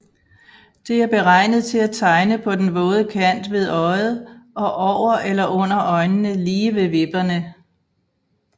Det er beregnet til at tegne på den våde kant ved øjet og over eller under øjnene lige ved vipperne